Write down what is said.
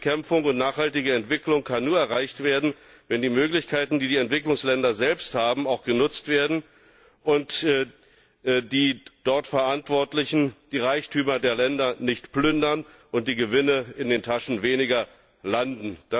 Armutsbekämpfung und nachhaltige Entwicklung können nur erreicht werden, wenn die Möglichkeiten, die die Entwicklungsländer selbst haben, auch genutzt werden und die dort Verantwortlichen die Reichtümer der Länder nicht plündern und die Gewinne in den Taschen Weniger landen.